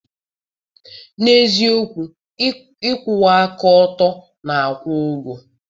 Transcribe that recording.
N'eziokwu, ịkwụwa aka ọtọ na-akwụ ụgwọ.